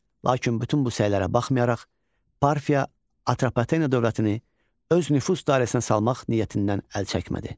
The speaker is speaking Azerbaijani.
Lakin bütün bu səylərə baxmayaraq, Parfiya Atropatena dövlətini öz nüfuz dairəsinə salmaq niyyətindən əl çəkmədi.